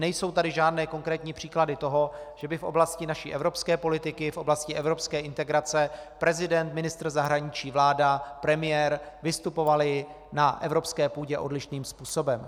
Nejsou tady žádné konkrétní příklady toho, že by v oblasti naší evropské politiky, v oblasti evropské integrace prezident, ministr zahraničí, vláda, premiér vystupovali na evropské půdě odlišným způsobem.